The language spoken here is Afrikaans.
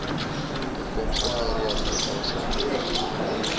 toekomstige rehabilitasie verpligtinge